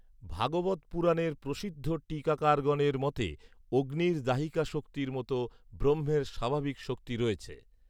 ভাগবত পুরাণের প্রসিদ্ধ টীকাকারগণের মতে অগ্নির দাহিকা শক্তির মতো ব্রহ্মের স্বাভাবিক শক্তি রয়েছে